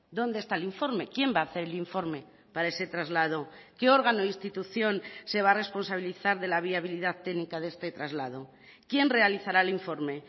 dónde está el informe quién va a hacer el informe para ese traslado qué órgano o institución se va a responsabilizar de la viabilidad técnica de este traslado quién realizará el informe